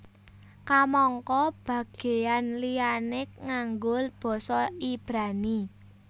Kamangka bagéyan liyané nganggo basa Ibrani